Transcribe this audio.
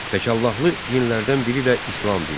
Təkallahlı dinlərdən biri də İslam dinidir.